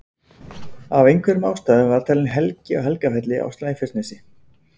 Af einhverjum ástæðum var talin helgi á Helgafelli á Snæfellsnesi.